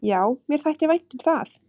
"""Já, mér þætti vænt um það."""